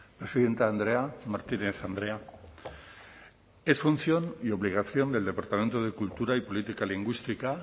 presidente andrea martínez andrea es función y obligación del departamento de cultura y política lingüística